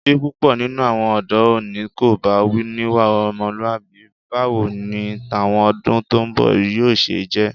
Bí púpọ̀ nínú àwọn ọ̀dọ́ òní kò bá níwà ọmọlúwàbí, báwo ni tàwọn ọdún tó ń bọ̀ yóò ṣe jẹ́.